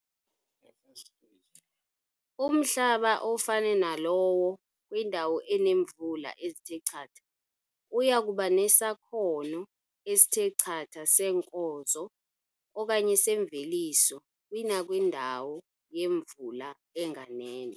Umhlaba ofane nalowo kwindawo eneemvula ezithe chatha uya kuba nesakhono esithe chatha seenkozo okanye semveliso kunakwindawo yemvula enganeno.